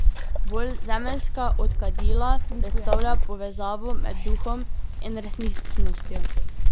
Bolj zemeljska od kadila, predstavlja povezavo med duhom in resničnostjo.